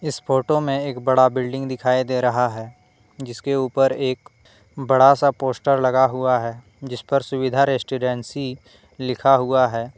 इस फोटो में एक बड़ा बिल्डिंग दिखाई दे रहा है जिसके ऊपर एक बड़ा सा पोस्टर लगा हुआ है जिस पर सुविधा रेजिडेंसी लिखा हुआ है।